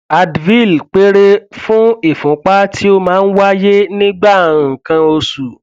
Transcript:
advil péré fún ìfúnpá tí ó máa ń wáyé nígbà nǹkan oṣù